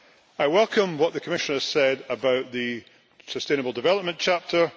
I welcome what the Commissioner said about the sustainable development chapter.